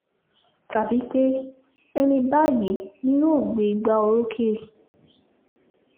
tàbí pé ẹni báyìí ni yóò gbé ìgbà orókè